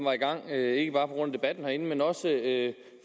var i gang ikke bare på grund af debatten herinde men også